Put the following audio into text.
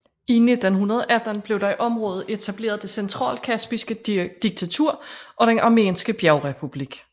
I 1918 blev der i området etableret det Centralkaspiske diktatur og Den armenske Bjergrepublik